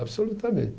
Absolutamente.